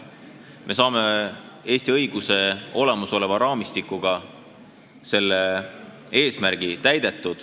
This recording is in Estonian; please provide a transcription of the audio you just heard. Me saame selle eesmärgi täidetud Eesti õiguse olemasolevas raamistikus.